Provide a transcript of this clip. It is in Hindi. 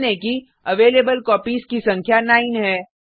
ध्यान दें कि अवेलेबल कॉपीज की संख्या 9 है